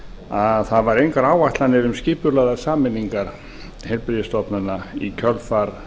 að það væru engar áætlanir um skipulagðar sameiningar heilbrigðisstofnana í kjölfar